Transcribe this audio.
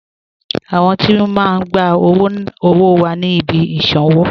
Àwọn tí o máa n gbà owó wà ní ìbí ìṣanwọ̀